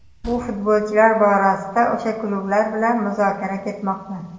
Bu futbolchilar borasida o‘sha klublar bilan muzokara ketmoqda.